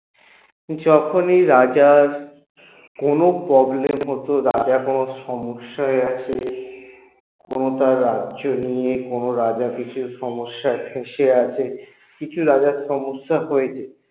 যখনই রাজার কোনো problem হত রাজা কোনো সমস্যায় আছে কোনো তার রাজ্য নিয়ে কোনো রাজা সে সমস্যায় ফেঁসে আছে কিছু রাজার সমস্যা হয়েছে